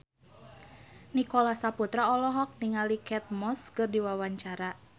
Nicholas Saputra olohok ningali Kate Moss keur diwawancara